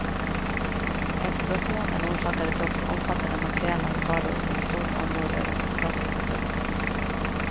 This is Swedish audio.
Explosionen orsakade dock omfattande materiella skador i ett stort område runt hotellet. punkt